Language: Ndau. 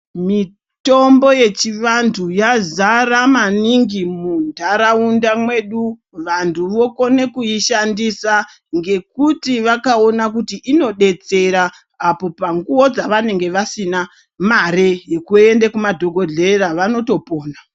Mitombo yechivanthu yazara maningi muntaraunda mwedu. Vantu vokone kuishandisa, ngekuti vakaona kuti inodetsera apo panguwo dzavanenge vasina mare yekuende kumadhokodheya vanotopona.